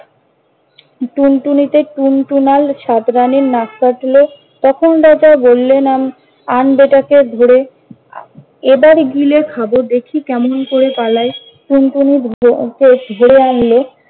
টুনটুনিতে টুনটুনাল সাত নারির নাক কাটলে। তখন রাজা বললেন- আন বেটাকে ধরে আহ এবারি গিলে খাব দেখি কেমন করে পালায়। টুনটুনি ধরে আনল।